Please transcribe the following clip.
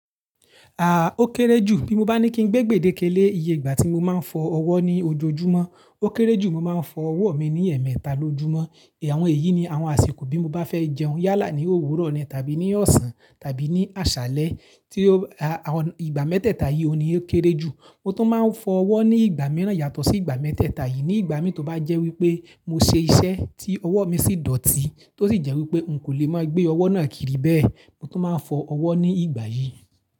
À, ó kéré jù bí mo bá ní kí n gbé gbèdéke lé iye ìgbà tí mo máa ń fọ ọwọ́ ní ojoojúmọ́. Ó kéré jù mo máa ń fọ ọwọ́ mi ní ẹ̀ẹ̀mẹta lójúmọ́. Àwọn èyí ni àwọn àsìkò bí mo bá fẹ́ jẹun yálà ní òwúrọ̀ ni tàbí ní ọ̀sán tàbí ní àṣálẹ́ tí ó a àwọn ìgbà mẹ́tẹ́ẹ̀ta yìí òní ó kéré jù. Mo tó máa ń fọ ọwọ́ ní ìgbà mìíràn yàtọ̀ sí ìgbà mẹ́tẹ́ẹ̀ta yìí. Ní ìgbà mi tó bá jẹ́ wípé mo ṣe iṣẹ́ tí ọwọ́ mi sì dọ̀tí tó sì jẹ́ wípé n kò lè má gbé ọwọ́ náà kiri bẹ́ẹ̀, mo tún máa n fọ ọwọ́ ní ìgbà yìí.